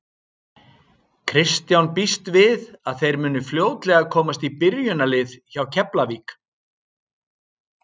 Kristján býst við að þeir muni fljótlega komast í byrjunarliðið hjá Keflavík.